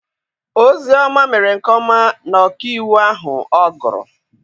Ozioma mere nke ọma na ọkaiwu ahụ ọ gụrụ.